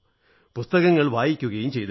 പുസ്തകങ്ങൾ വായിക്കയും ചെയ്തിരുന്നു